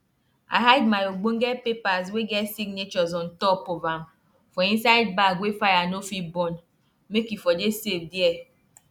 this better pepper wey we plant dey bring plenty fruit for one tree and e no and e no dey let leaf bend anyhow.